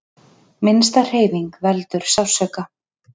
Minnsta hreyfing veldur sársauka.